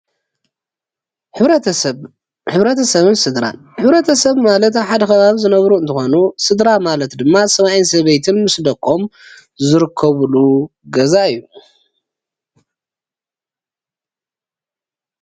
ሕብረተሰብ ሕብረተሰብን ስድራን ሕብረተሰብ ማለት ኣብ ሓደ ከባቢዝነብሩ እንትኮኑ ስድራ ማለት ድማ ሰብአይ ሰበይትን ምስ ደቆም ዝርከብሉ ገዛ እዩ፡፡